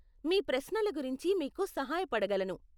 మీ ప్రశ్నల గురించి మీకు సహాయపడగలను.